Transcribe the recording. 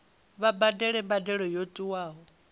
vha badele mbadelo yo tiwaho